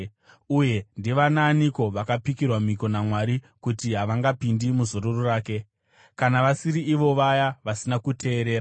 Uye ndivanaaniko vakapikirwa mhiko naMwari kuti havangapindi muzororo rake kana vasiri ivo vaya vasina kuteerera?